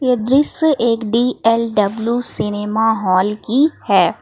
ये दृश्य एक डी_एल_डब्लू सिनेमा हॉल की है।